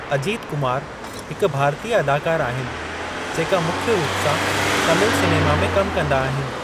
अजीत कुमार हिकु भारतीय अदाकार आहिनि जेका मुख्य रूप सां तमिल सिनेमा में कम कंदा आहिनि।